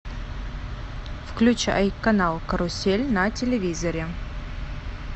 включай канал карусель на телевизоре